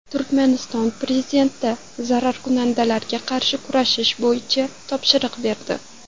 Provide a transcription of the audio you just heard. Turkmaniston prezidenti zararkunandalarga qarshi kurashish bo‘yicha topshiriq berdi.